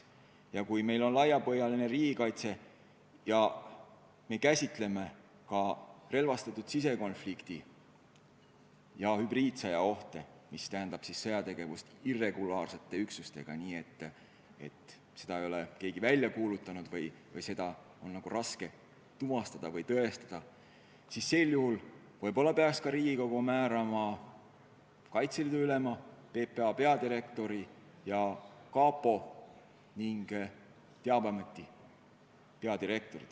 Ja kui meil on laiapõhjaline riigikaitse ja me käsitleme ka relvastatud sisekonflikti ja hübriidsõja ohtu, mis tähendab sõjategevust irregulaarsete üksustega, nii et sõda ei ole keegi välja kuulutanud ning seda on ka raske tuvastada või tõestada, siis võib-olla peaks Riigikogu määrama ka Kaitseliidu ülema, PPA peadirektori ja kapo ning teabeameti peadirektori.